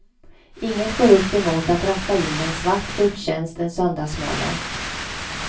Inget går upp emot att ratta in en svart gudstjänst en söndagsmorgon.